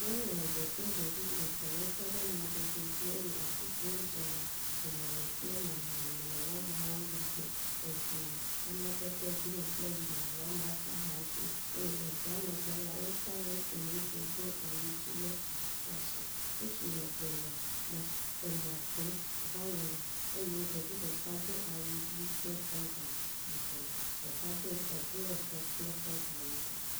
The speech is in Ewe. Nyɔnu eve kple ɖevi etɔ wotɔ ɖe mɔdodo dzi eye afi si wodzena ŋumemi kple mɔmemi le woameawo megbe, eŋu amadede green kple ʋi le woameawo ƒe axa dzi eye le ŋua megbe la, wota nusi ŋutsu do awu dzi le aha ɖe asi, ŋutsu eve le emɔ kum va yina, eye ɖeka do awu ʋi kple trɔza yibɔ, ɖeka do eblɔ tɔ kple trɔza yibɔ